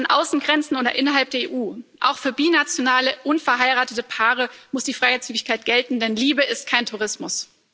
Ob an Außengrenzen oder innerhalb der EU Auch für binationale unverheiratete Paare muss die Freizügigkeit gelten, denn Liebe ist kein Tourismus.